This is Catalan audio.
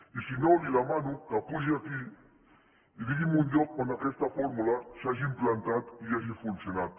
i si no li demano que pugi aquí i digui’m un lloc on aquesta fórmula s’hagi implantat i hagi funcionat